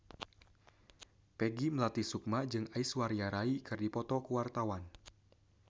Peggy Melati Sukma jeung Aishwarya Rai keur dipoto ku wartawan